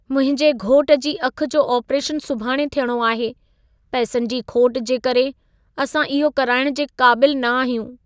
मुंहिंजे घोट जी अखि जो आपरेशनु सुभाणे थियणो आहे। पैसनि जी खोट जे करे असां इहो कराइण जे क़ाबिल न आहियूं।